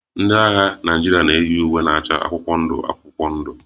Ndị agha Naịjirịa na-eyi uwe na-acha akwụkwọ ndụ akwụkwọ ndụ